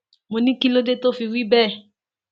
mo ní kí ló dé tó fi wí bẹẹ